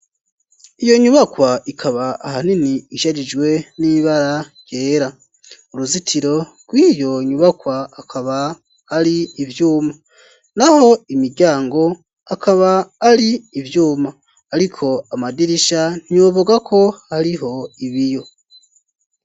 Iyo nyubakwa ikaba ahanini ishajijwe n'ibara ryera. Uruzitiro rw'iyo nyubakwa akaba ari ivyuma. Naho imiryango akaba ari ivyuma. Ariko amadirisha ntiwoyobegwa ko hariho ibiyo.